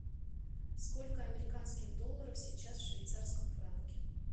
сколько американских долларов сейчас в швейцарском франке